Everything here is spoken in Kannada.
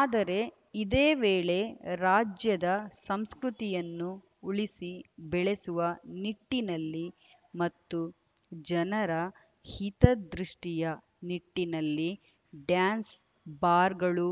ಆದರೆ ಇದೇ ವೇಳೆ ರಾಜ್ಯದ ಸಂಸ್ಕೃತಿಯನ್ನು ಉಳಿಸಿ ಬೆಳೆಸುವ ನಿಟ್ಟಿನಲ್ಲಿ ಮತ್ತು ಜನರ ಹಿತದೃಷ್ಟಿಯ ನಿಟ್ಟಿನಲ್ಲಿ ಡ್ಯಾನ್ಸ್‌ ಬಾರ್‌ಗಳು